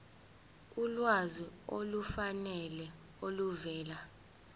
ulwazi olufanele oluvela